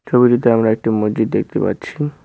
ছবিটিতে আমরা একটি মসজিদ দেখতে পাচ্ছি।